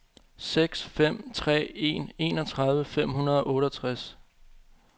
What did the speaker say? seks fem tre en enogtredive fem hundrede og otteogtres